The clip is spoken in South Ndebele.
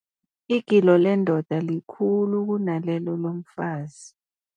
Igilo lendoda likhulu kunalelo lomfazi.